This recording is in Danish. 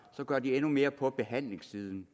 gør de endnu mere på behandlingssiden